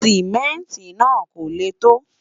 simẹnti nà kò lẹ to